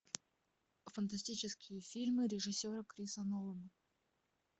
фантастические фильмы режиссера криса нолана